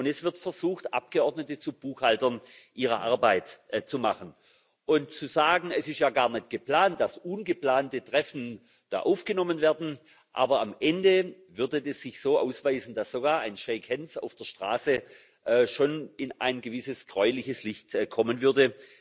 Und es wird versucht, Abgeordnete zu Buchhaltern ihrer Arbeit zu machen. Zu sagen Es ist ja gar nicht geplant, dass ungeplante Treffen da aufgenommen werden aber am Ende würde es sich so ausweisen, dass sogar ein auf der Straße schon in ein gewisses gräuliches Licht kommen würde